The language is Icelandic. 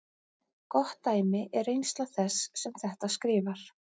Gott dæmi er reynsla þess sem þetta skrifar.